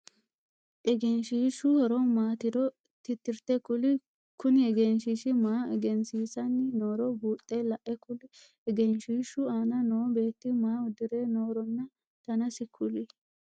Egenshiishu horo maatiro titirte kuli? Kunni egenshiishi maa egensiissanni nooro buuxe la'a kuli? Egenshiishu aanna noo beeti maa udire nooronna dannasi kuli?